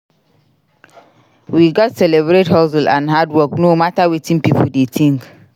We gats celebrate hustle and hard work no matter wetin pipo dey think.